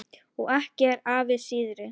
Og ekki er afi síðri.